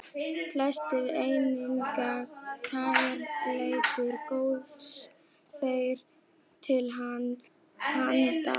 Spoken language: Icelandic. felst einnig kærleikur Guðs þér til handa.